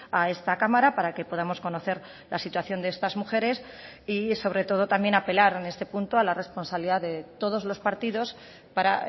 a esta cámara para que podamos conocer la situación de estas mujeres y sobre todo también apelar en este punto a la responsabilidad de todos los partidos para